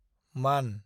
मान